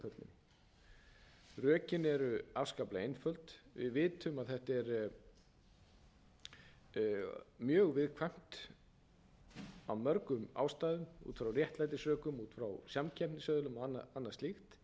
í kauphöllinni rökin eru afskaplega einföld við vitum að þetta er mjög viðkvæmt af mörgum ástæðum út frá réttlætisrökum út frá samkeppnisaðilum annað slíkt að fjármálafyrirtækin séu að taka